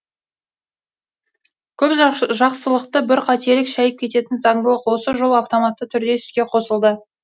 көп жақсылықты бір қателік шәйіп кететін заңдылық осы жолы автоматты түрде іске қосылды